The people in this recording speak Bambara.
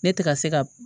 Ne tɛ ka se ka